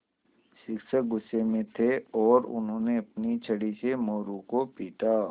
शिक्षक गुस्से में थे और उन्होंने अपनी छड़ी से मोरू को पीटा